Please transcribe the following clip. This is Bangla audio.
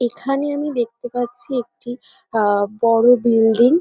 এখানে আমি দেখতে পাচ্ছি একটি আহ বড় বিল্ডিং ।